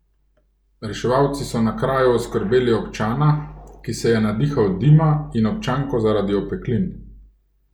Reševalci so na kraju oskrbeli občana, ki se je nadihal dima, in občanko zaradi opeklin.